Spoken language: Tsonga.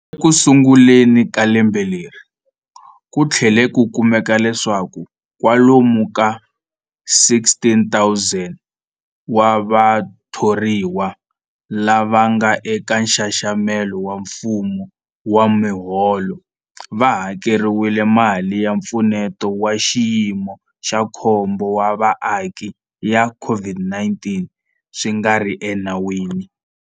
Ekusunguleni ka lembe leri, ku tlhele ku kumeka leswaku kwalomu ka 16,000 wa vatho riwa lava nga eka nxaxamelo wa mfumo wa miholo va hakeriwile mali ya Mpfuneto wa Xiyimo xa Khombo wa Vaaki ya COVID-19 swi nga ri enawini.